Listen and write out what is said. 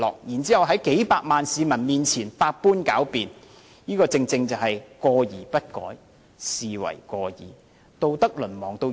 然後在數百萬名市民面前百般狡辯，這正是"過而不改，是謂過矣"。